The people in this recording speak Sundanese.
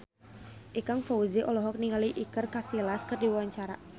Ikang Fawzi olohok ningali Iker Casillas keur diwawancara